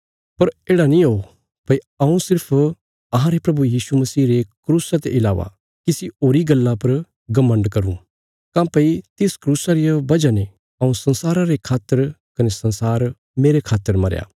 पर येढ़ा नीं हो भई हऊँ सिर्फ अहांरे प्रभु यीशु मसीह रे क्रूसा ते इलावा किसी होरी गल्ला पर घमण्ड करूँ काँह्भई तिस क्रूसा रिया वजह ने हऊँ संसारा रे खातर कने संसार मेरे खातर मरया